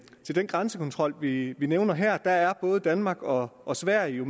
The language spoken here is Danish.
den grænsekontrol vi vi nævner her at både danmark og og sverige